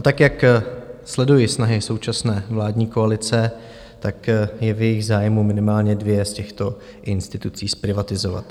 A tak jak sleduji snahy současné vládní koalice, tak je v jejich zájmu minimálně dvě z těchto institucí zprivatizovat.